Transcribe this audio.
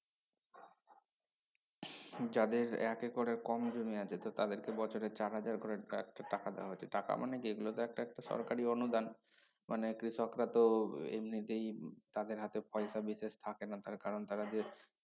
যাদের এক একরের কম জমি আছে তো তাদেরকে বছরে চার হাজার করে টা টাকা দেওয়া হচ্ছে টাকা মানে যেগুলোতে একটা একটা সরকারি অনুদান মানে কৃষকরা তো এমনিতেই তাদের হাতে পয়সা বিশেষ থাকে না তার কারন তারা যে